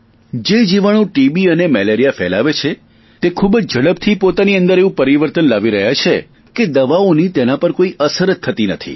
જે જીવાણુ ટીબી અને મેલેરિયા ફેલાવે છે તે પોતાની અંદર બહુ જ ઞડપથી એવું પરિવર્તન લાવી રહ્યા છે કે દવાઓની તેના પર કોઈ અસર જ થતી નથી